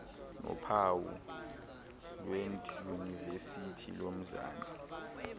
nophawu lwedyunivesithi yomzantsi